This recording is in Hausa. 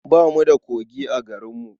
Ba mu da kogi a garinmu.